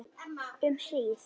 Um hríð.